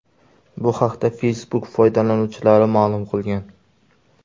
Bu haqda Facebook foydalanuvchilari ma’lum qilgan .